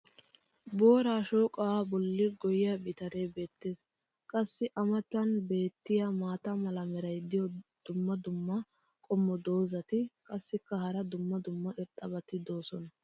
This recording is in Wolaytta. Booraa shooqaa boli goyiya bitanee beetees. qassi a matan beetiya maata mala meray diyo dumma dumma qommo dozzati qassikka hara dumma dumma irxxabati doosona.